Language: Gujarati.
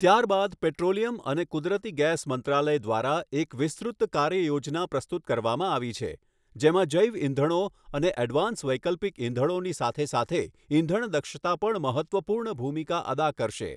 ત્યારબાદ પેટ્રોલીયમ અને કુદરતી ગેસ મંત્રાલયે એક વિસ્તૃત કાર્યયોજના પ્રસ્તુત કરવામાં આવી છે, જેમાં જૈવ ઇંધણો અને એડવાન્સ વૈકલ્પિક ઇંધણોની સાથે સાથે ઈંધણ દક્ષતા પણ મહત્ત્વપૂર્ણ ભૂમિકા અદા કરશે.